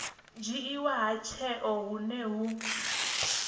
dzhiiwa ha tsheo hune hu